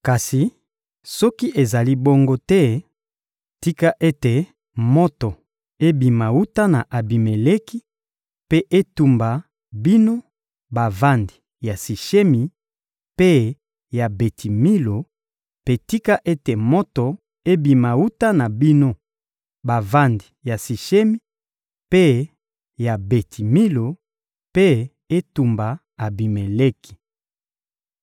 Kasi soki ezali bongo te, tika ete moto ebima wuta na Abimeleki mpe etumba bino bavandi ya Sishemi mpe ya Beti-Milo; mpe tika ete moto ebima wuta na bino bavandi ya Sishemi mpe ya Beti-Milo, mpe etumba Abimeleki!»